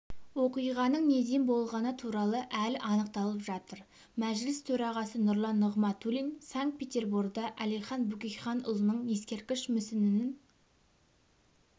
оқиғаның неден болғаны туралы әлі анықталып жатыр мәжіліс төрағасы нұрлан нығматулин санкт-петерборда әлихан бөкейханұлының ескерткіш мүсінінің